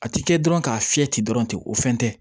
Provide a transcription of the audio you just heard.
A ti kɛ dɔrɔn k'a fiyɛ ten dɔrɔn ten o fɛn tɛ